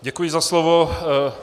Děkuji za slovo.